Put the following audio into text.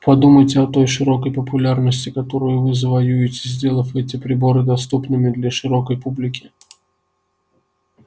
подумайте о той широкой популярности которую вы завоюете сделав эти приборы доступными для широкой публики